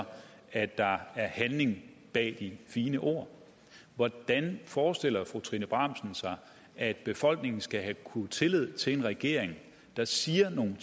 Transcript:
at der var handling bag de fine ord hvordan forestiller fru trine bramsen sig at befolkningen skal kunne have tillid til en regering der siger nogle